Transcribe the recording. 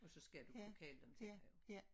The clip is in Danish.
Og så skal du kunne kalde dem til dig jo